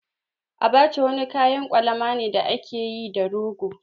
Abacha wani kayan kwalama ne da ake yi da rogo.